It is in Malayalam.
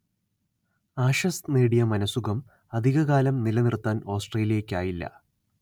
ആഷസ് നേടിയ മനഃസുഖം അധിക കാലം നിലനിർത്താൻ ഓസ്ട്രേലിയയ്ക്കായില്ല